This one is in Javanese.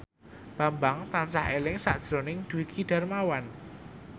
Bambang tansah eling sakjroning Dwiki Darmawan